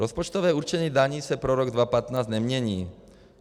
Rozpočtové určení daní se pro rok 2015 nemění.